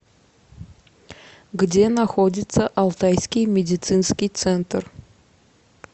где находится алтайский медицинский центр